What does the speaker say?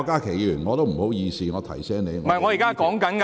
主席，不好意思，我提到你。